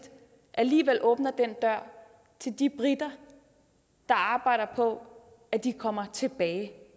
alligevel åbner den dør til de briter der arbejder på at de kommer tilbage